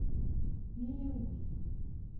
мелеузу